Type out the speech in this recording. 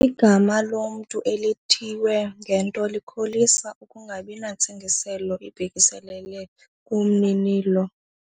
Igama lomntu elithiywe ngento likholisa ukungabi nantsingiselo ibhekiselele kumninilo.